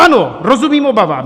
Ano, rozumím obavám.